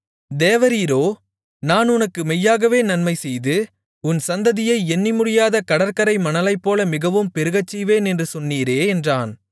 தேவரீரோ நான் உனக்கு மெய்யாகவே நன்மைசெய்து உன் சந்ததியை எண்ணிமுடியாத கடற்கரை மணலைப்போல மிகவும் பெருகச் செய்வேன் என்று சொன்னீரே என்றான்